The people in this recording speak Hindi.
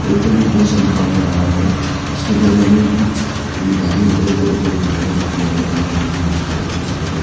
ऊपर में बहोत सारा लोग काम कर रहा है उसके बगल में कुछ देखने को मिल रहे है जोकि आदमी काम करने के लिए यूज कर यूज कर रहा है।